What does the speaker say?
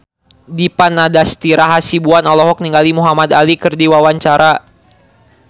Dipa Nandastyra Hasibuan olohok ningali Muhamad Ali keur diwawancara